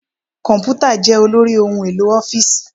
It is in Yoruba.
Komputa jẹ́ olórí ohun-èlò ọ́fíìsì.